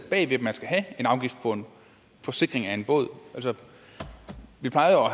skal have en afgift på en forsikring af en båd vi plejer